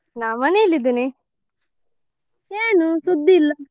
ನಾನ್ ಮನೆಯಲ್ಲಿ ಇದ್ದೇನೆ ಏನು ಸುದ್ದಿ ಇಲ್ಲ.